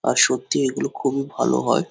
আর সত্যিই এগুলো খুবই ভালো হয়।